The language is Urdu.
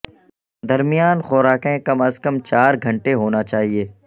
درمیان خوراکیں کم از کم چار گھنٹے ہونا چاہئے